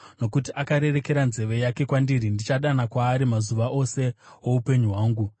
Nokuti akarerekera nzeve yake kwandiri, ndichadana kwaari mazuva ose oupenyu hwangu.